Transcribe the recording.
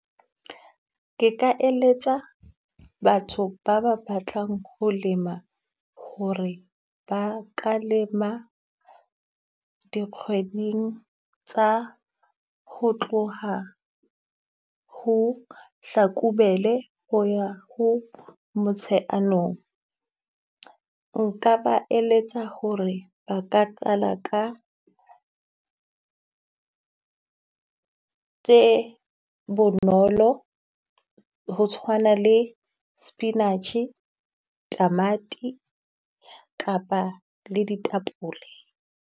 Ke ka eletsa batho ba ba ba tlang ho lema ho re ba ka lema dikgweding tsa ho tloha ho Hlakubele ho ya ho Motsheanong. Nka ba eletsa ho re ba ka qala ka tse bonolo ho tshwana le spinach, tamati kapa le ditapole.